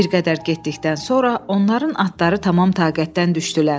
Bir qədər getdikdən sonra onların atları tamam taqətdən düşdülər.